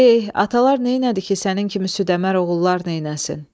Eh, atalar neynədi ki, sənin kimi südəmər oğullar neynəsin?